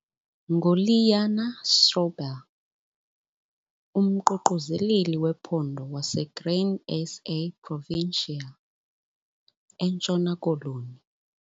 NguLiana Stroebel, umQuquzeleli wePhondo waseGrain SA Provincial, eNtshona Koloni.